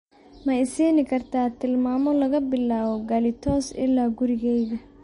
ma i siin kartaa tilmaamo laga bilaabo galitos ilaa gurigayga